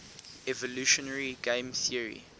evolutionary game theory